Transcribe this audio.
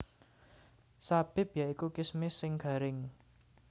Zabib ya iku kismis sing garing